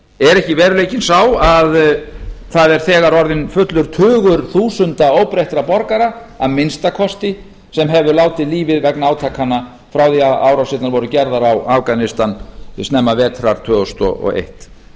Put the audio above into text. er ekki veruleikinn sá að það er þegar orðinn fullur tugur þúsunda óbreyttra borgara að minnsta kosti sem hefur látið lífið vegna átakanna frá því að árásirnar voru gerðar á afganistan snemma vetrar tvö þúsund og eitt